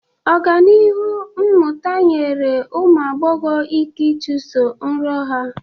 Ọganihu mmụta nyere ụmụ agbọghọ ike ịchụso nrọ ha.